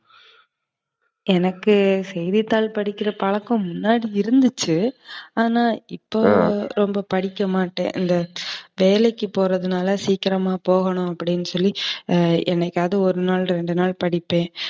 எனக்கு செய்தித்தாள் படிக்கிற பழக்கம் முன்னாடி இருந்துச்சு. ஆனா இப்போ ரொம்ப படிக்கமாட்டேன். இந்த வேலைக்கு போறதுனால சீக்கிரமா போனும் அப்டினு சொல்லி என்னைக்காது ஒரு நாள், ரெண்டு நாள் படிப்பேன்.